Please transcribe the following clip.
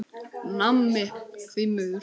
Nammi, því miður.